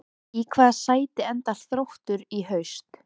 Í hvaða sæti endar Þróttur í haust?